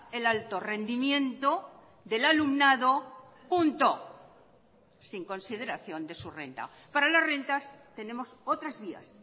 el alto rendimiento del alumnado punto sin consideración de su renta para las rentas tenemos otras vías